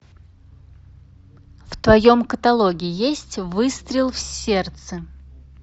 в твоем каталоге есть выстрел в сердце